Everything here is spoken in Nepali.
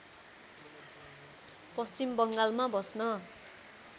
पश्चिम बङ्गालमा बस्न